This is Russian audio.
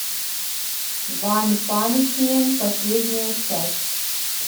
ванпанчмен последняя часть